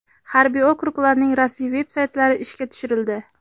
Harbiy okruglarning rasmiy veb-saytlari ishga tushirildi.